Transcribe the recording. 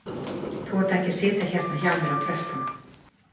Þú átt ekki að sitja hérna hjá mér á tröppunum